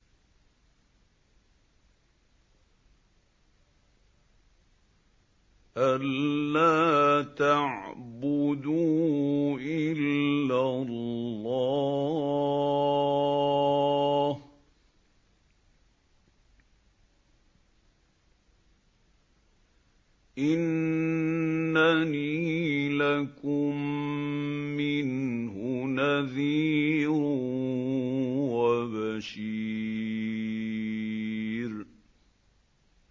أَلَّا تَعْبُدُوا إِلَّا اللَّهَ ۚ إِنَّنِي لَكُم مِّنْهُ نَذِيرٌ وَبَشِيرٌ